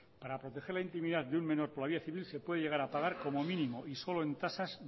para proteger la intimidad de un menor por la vía civil se puede llegar a pagar como mínimo y solo en tasas